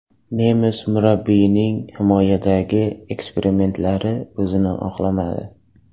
Nemis murabbiyining himoyadagi eksperimentlari o‘zini oqlamadi.